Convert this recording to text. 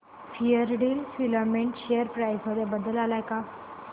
Fairdeal filament share price मध्ये बदल आलाय का